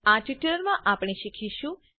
આ ટ્યુટોરીયલમાં આપણે શીખીશું